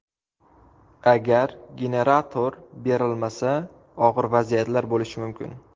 Agar generator berilmasa, og‘ir vaziyatlar bo‘lishi mumkin.